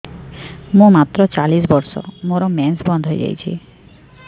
ମୁଁ ମାତ୍ର ଚାଳିଶ ବର୍ଷ ମୋର ମେନ୍ସ ବନ୍ଦ ହେଇଯାଇଛି